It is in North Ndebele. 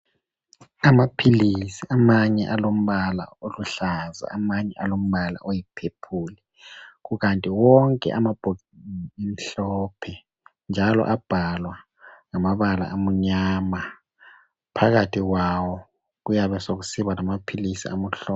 Amaphilisi amanye alombala oluhlaza amanye alombala oyi"purple", kukanti wonke amabhokisi amhlophe njalo abhalwa ngamabala amnyama phakathi kwawo kuyabe sokusiba lamaphilisi amhlo.